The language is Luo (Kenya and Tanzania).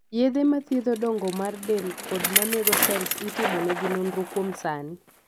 yedhe ma thiedho dongo mar del kod manego sels itimo negi nonro kuom sani